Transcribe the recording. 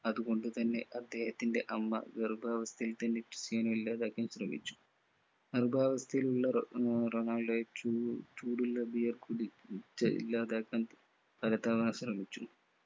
അതുകൊണ്ടുതന്നെ അദ്ദേഹത്തിന്റെ അമ്മ ഗർഭാവസ്ഥയിൽ തന്നെ ക്രിസ്ത്യാനോ ഇല്ലാതാക്കാൻ ശ്രമിച്ചു ഗർഭാവസ്ഥയിലുള്ള റൊണാ ആഹ് റൊണാൾഡോയെ ചൂ ചൂടുള്ള beer കുടിച്ചു ഇല്ലാതാക്കാൻ പലതവണ ശ്രമിച്ചു